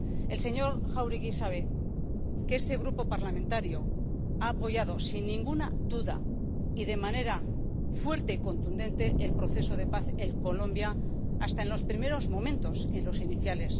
El señor Jáuregui sabe que este Grupo parlamentario ha apoyado, sin ninguna duda y de manera fuerte y contundente el proceso de paz en Colombia hasta en los primeros momentos, en los iniciales.